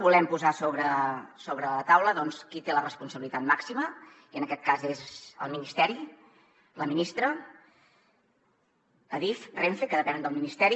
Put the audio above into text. volem posar sobre la taula qui en té la responsabilitat màxima i en aquest cas és el ministeri la ministra adif renfe que depenen del ministeri